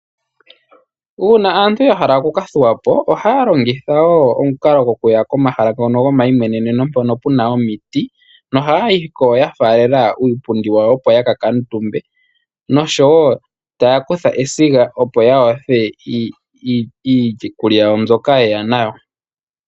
Uuna aantu yahala oku ks thuwapo ohaya longitha woo omukalo gokuya komahala ngono gomayimweneneno hono kuna woo omiti. Noha ya yiko ya faalela uupundi wayo opo yaka kuutumbe . Nosho woo taya kutha esiga opo ya yothe iikulya yawo mbyoka ye ya nayo.